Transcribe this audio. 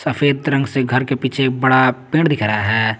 सफेद रंग से घर के पीछे एक बड़ा पेड़ दिख रहा है।